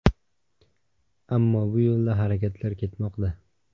Ammo bu yo‘lda harakatlar ketmoqda.